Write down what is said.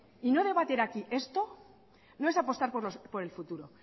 y no debatir aquí esto no es apostar por el futuro